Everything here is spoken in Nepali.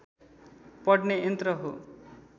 पढ्ने यन्त्र हो